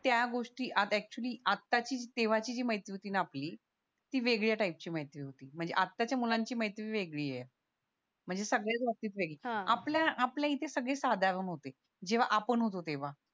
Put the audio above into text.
त्या गोष्टी आत एक्चुअली आता ची तेव्हा ची जी मैत्री होती ना आपली ती वेगळ्या टाईप ची मैत्री होती म्हणजे आता च्या मुलांची मैत्री वेगळी ये म्हणजे सगळ्याच बाबतीत वेगळी ये आपल्या आपल्या इथं सगळे साधारण होते जेव्हा आपण होतो तेव्हा